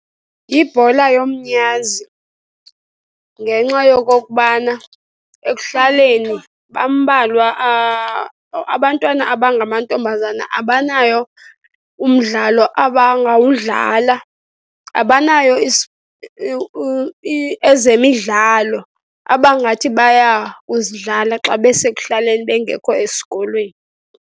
Yibhola yomnyazi ngenxa yokokubana ekuhlaleni bambalwa . Abantwana abangamantombazana abanawo umdlalo abangawudlala, abanayo ezemidlalo abangathi baya kuzidlala xa besekuhlaleni, bengekho esikolweni.